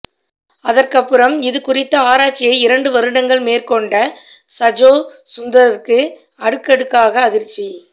அதற்கப்புறம் இது குறித்த ஆராய்ச்சியை இரண்டு வருடங்கள் மேற்கொண்ட சஜோ சுந்தருக்கு அடுக்கடுக்காக அதிர்ச்சி